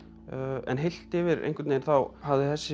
en heilt yfir þá hafði þessi